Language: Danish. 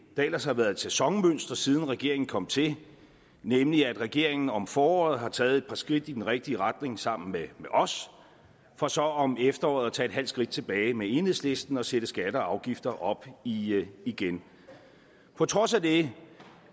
der ellers har været et sæsonmønster siden regeringen kom til nemlig at regeringen om foråret har taget et par skridt i den rigtige retning sammen med os for så om efteråret at tage et halvt skridt tilbage med enhedslisten og sætte skatter og afgifter op igen igen på trods af det